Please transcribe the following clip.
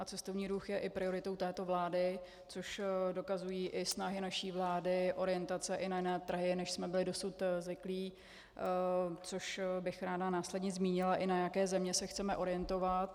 A cestovní ruch je prioritou i této vlády, což dokazují i snahy naší vlády, orientace i na jiné trhy, než jsme byli dosud zvyklí, což bych ráda následně zmínila, i na jaké země se chceme orientovat.